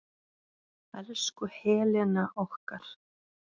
Elsku Helena okkar.